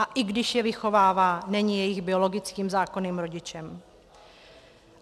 A i když je vychovává, není jejich biologickým zákonným rodičem.